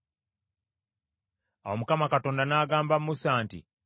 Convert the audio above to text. Awo Mukama Katonda n’agamba Musa nti,